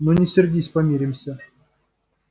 ну не сердись помиримся